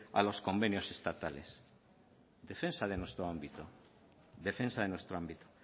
a los convenios estatales defensa de nuestro ámbito defensa de nuestro ámbito